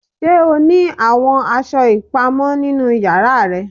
Ṣe o ni awọn aṣọ ipamọ ninu yara rẹ?